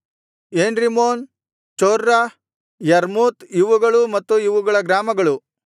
ಏನ್ರಿಮ್ಮೋನ್ ಚೊರ್ರ ಯರ್ಮೂತ್ ಇವುಗಳೂ ಮತ್ತು ಇವುಗಳ ಗ್ರಾಮಗಳು